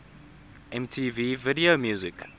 mtv video music